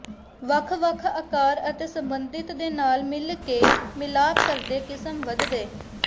ਵੱਖ ਵੱਖ ਆਕਾਰ ਅਤੇ ਸੰਬੰਧਿਤ ਦੇ ਨਾਲ ਮਿਲ ਕੇ ਮਿਲਾਪ ਕਰਦੇ ਕਿਸਮ ਵਧਦੇ